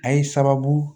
A ye sababu